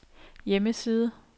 hjemmeside